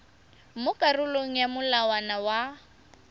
mo karolong ya molawana wa